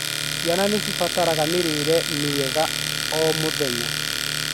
Cĩana nĩ cirabatara mũrĩre mwega o mũthenya